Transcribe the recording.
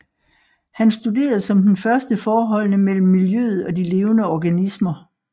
Han studerede som den første forholdene mellem miljøet og de levende organismer